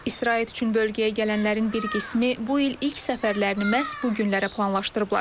İstirahət üçün bölgəyə gələnlərin bir qismi bu il ilk səfərlərini məhz bu günlərə planlaşdırıblar.